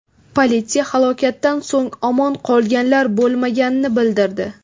Politsiya halokatdan so‘ng omon qolganlar bo‘lmaganini bildirdi.